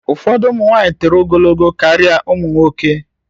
Ụfọdụ ụmụ nwanyị toro ogologo karịa ụmụ nwoke